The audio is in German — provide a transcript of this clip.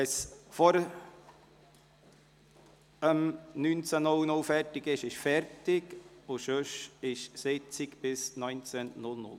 Wenn wir vor 19 Uhr fertig werden, ist fertig, und sonst dauert die Sitzung bis 19 Uhr.